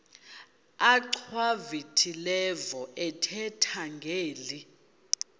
achwavitilevo ethetha ngeli